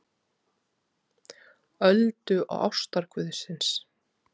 Öldu og ástarguðsins.